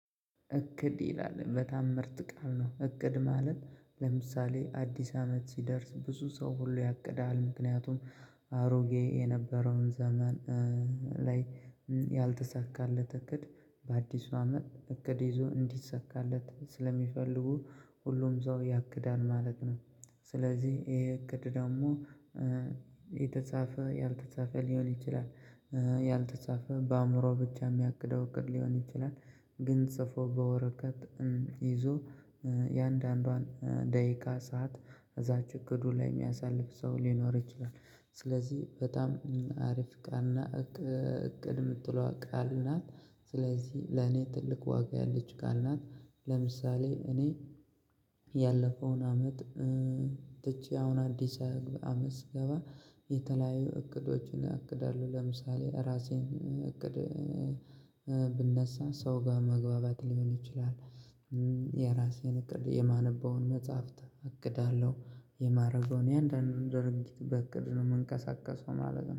እቅድ ይላል በጣም ምርጥ ቃል ነው እቅድ ማለት ለምሳሌ አዲስ አመት ሲደርስ ብዙ ሰው ሁሉ ያቅዳል ምክንያቱም አሮጌ የነበረውን ዘመን ላይ ያልተሳካለት እቅድ በአዲሱ አመት እቅድ ይዞ እንዲሰካለት ስለሚፈልጉ ሁሉም ሰው ያቅዳል ማለት ነው። ስለዚህ ይሄ እቅድ ደግሞ የተጻፈ ያልተጻፈ ሊሆን ይችላል ያልተጻፈ በአእምሮ ብቻ የሚያቅደው እቅድ ሊሆን ይችላል። ግን ጽፎ በወረቀት ይዞ የእያንዳንዷን ደቂቃ ሰዓት እዛች እቅዱ ላይ የሚያሳልፍ ሰው ሊኖር ይችላል። ስለዚህ በጣም ሀሪፍ ቃልና እቅድ የምትለዋ ቃል ናት። ስለዚህ ለኔ ትልቅ ዋጋ ያላት ቃል ናት። ለምሳሌ እኔ ያለፈውን አመት ትቼ አሁን አዲስ አመት ሲገባ የተለያዩ እቅዶችን አቅዳለሁ ለምሳሌ እራሴን እቅድ ስነሳ ሰው በመግባባት ሊሆን ይችላል። የራሴን እቅድ የማነበውን መፅህፍት አቅዳለሁ። የማደርገውን እያንዳንዱን ድርጊት በእቅድ ነው ምንቀሳቀሰው ማለት ነው